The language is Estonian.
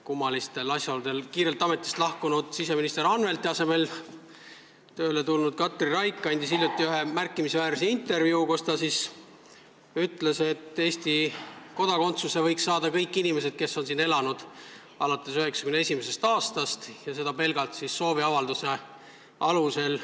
Kummalistel asjaoludel kiirelt ametist lahkunud siseminister Anvelti asemel tööle tulnud Katri Raik andis hiljuti ühe märkimisväärse intervjuu, kus ta ütles, et Eesti kodakondsuse võiks saada kõik inimesed, kes on siin elanud alates 1991. aastast, ja seda pelgalt sooviavalduse alusel.